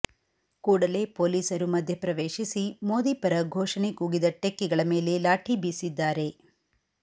ಕೂಡಲೇ ಪೊಲೀಸರು ಮಧ್ಯಪ್ರವೇಶಿಸಿ ಮೋದಿ ಪರ ಘೋಷಣೆ ಕೂಗಿದ ಟೆಕ್ಕಿಗಳ ಮೇಲೆ ಲಾಠಿ ಬೀಸಿದ್ದಾರೆ